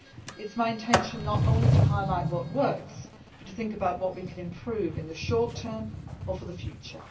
It is my intention not only to highlight what works, but to think about what we could improve in the short term or for the future.